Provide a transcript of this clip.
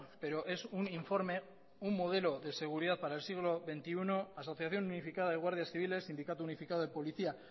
pero es un informe un modelo de seguridad para el siglo veintiuno asociación unificada de guardias civiles sindicato unificado de policía